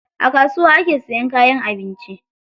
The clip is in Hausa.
A kasuwa ake siyan kayan abinci